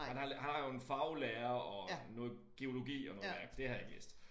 Han har han har jo en faglære og noget geologi og noget det har jeg ikke læst